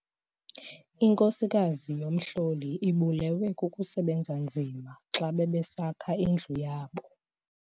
Inkosikazi yomhlolo ibulewe kukusebenza nzima xa bebesakha indlu yabo.